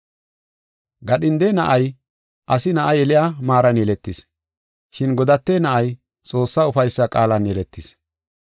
Gadhinde na7ay asi na7a yeliya maaran yeletis, shin godate na7ay Xoossaa ufaysa qaalan yeletis.